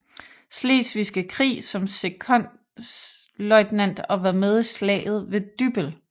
Slesvigske Krig som sekondløjtnant og var med i Slaget ved Dybbøl